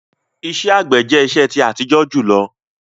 Ìṣẹ̀ àgbẹ̀ jẹ̀ ìṣẹ̀ ti àtíjọ júlọ